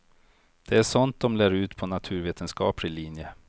Det är sånt de lär ut på naturvetenskaplig linje.